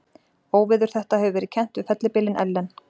Óveður þetta hefur verið kennt við fellibylinn Ellen.